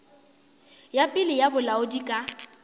ya pele ya bolaodi ka